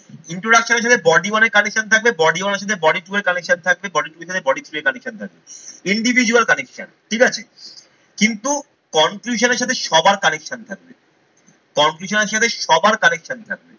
introduction এর সাথে body one এর connection থাকবে, body one এর সাথে body two এর connection থাকবে, body two এর সাথে body three এর connection থাকবে। Individual connection ঠিক আছে কিন্তু conclusion এর সাথে সবার connection থাকবে। conclusion এর সাথে সবার connection থাকবে।